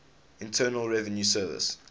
internal revenue service